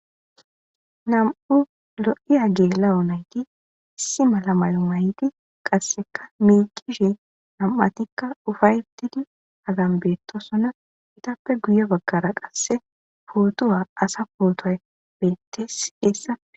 nam'u lo7iya geela'o nayti issi mala mayo may'ti qasseka miikishe nam'atikka ufayetidi agan beettosona itappe guye baggara qasse pootuwa asa pootoay bettes eessa.